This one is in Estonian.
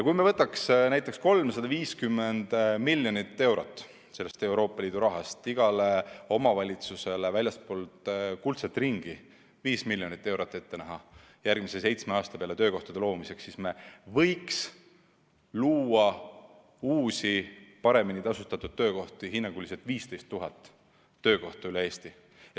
Kui me võtaks sellest Euroopa Liidu rahast näiteks 350 miljonit eurot ja näeksime igale omavalitsusele väljaspool kuldset ringi ette 5 miljonit eurot järgmise seitsme aasta peale töökohtade loomiseks, siis võiksime luua uusi, paremini tasustatud töökohti üle Eesti hinnanguliselt 15 000.